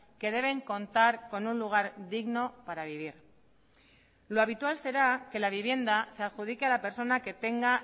que deben contar con un lugar digno para vivir lo habitual será que la vivienda se adjudique a la persona que tenga